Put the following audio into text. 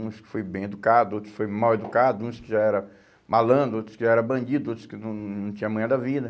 Uns que foi bem educado, outros que foi mal educado, uns que já era malandro, outros que já era bandido, outros que não não tinha manha da vida.